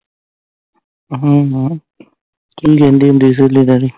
ਅਹਮ ਕੀ ਕਹਿੰਦੀ ਹੁੰਦੀ ਸੀ ਸ਼੍ਹੋਲੇ ਬਾਰੇ